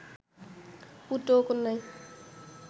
পুত্র ও কন্যায়